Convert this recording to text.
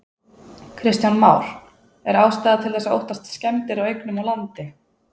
Kristján Már: Er ástæða til þess að óttast skemmdir á eignum og landi?